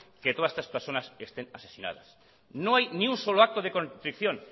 que todas estas personas estén asesinadas no hay ni un solo acto de contrición